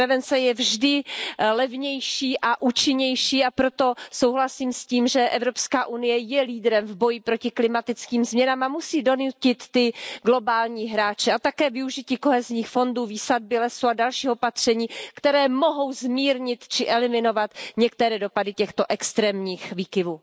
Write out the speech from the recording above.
Prevence je vždy levnější a účinnější, a proto souhlasím s tím, že Evropská unie je lídrem v boji proti klimatickým změnám a musí donutit ty globální hráče a také využít kohezních fondů, výsadby lesů a dalších opatření, která mohou zmírnit či eliminovat některé dopady extrémních výkyvů.